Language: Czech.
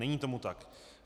Není tomu tak.